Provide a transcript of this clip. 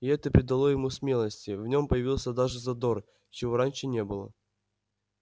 и это придало ему смелости в нём появился даже задор чего раньше не было